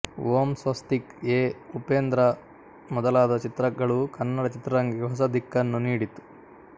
ಓಂ Swastik A Upendra ಮೊದಲಾದ ಚಿತ್ರಗಳು ಕನ್ನಡ ಚಿತ್ರರಂಗಕ್ಕೆ ಹೊಸ ದಿಕ್ಕನ್ನು ನೀಡಿತು